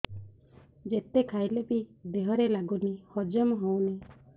ଯେତେ ଖାଇଲେ ବି ଦେହରେ ଲାଗୁନି ହଜମ ହଉନି